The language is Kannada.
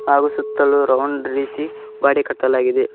ಹಾಗು ಸುತ್ತಲು ರೌಂಡ್ ರೀತಿ ಗ್ವಡೆ ಕಟ್ಟಲಾಗಿದೆ.